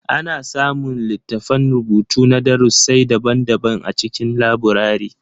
Ana samun littattafan rubutu na darussi daban-daban a cikin laburare.